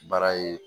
Baara ye